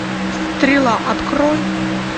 стрела открой